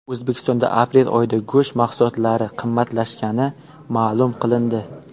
O‘zbekistonda aprel oyida go‘sht mahsulotlari qimmatlashgani ma’lum qilindi .